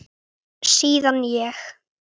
Síðan ég